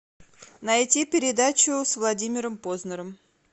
найти передачу с владимиром познером